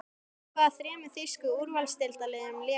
Með hvaða þremur þýsku úrvalsdeildarliðum lék hann?